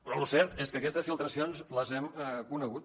però el cert és que aquestes filtracions les hem conegut